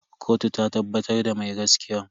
Kotu ta tabbatar da mai gaskiyan.